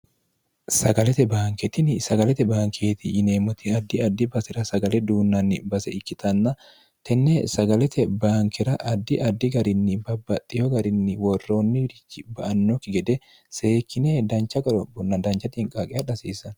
sagalete baanketini sagalete baankeeti yineemmoti addi addi basira sagale duunnanni base ikkitanna tenne sagalete baankira addi addi garinni babbaxxiyo garinni worroonni wirichi ba annookki gede seekkine dancha gorobonna dancha tiinqaaqe hadh hasiissann